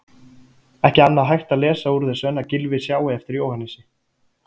Ekki annað hægt að lesa úr þessu en að Gylfi sjái eftir Jóhannesi.